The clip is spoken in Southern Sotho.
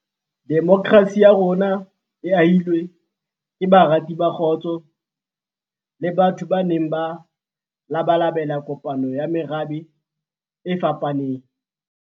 Demokrasi ya rona e ahilwe ke barati ba kgotso le batho ba neng ba labalabela kopano ya merabe e fapaneng.